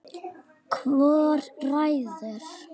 Hvor ræður?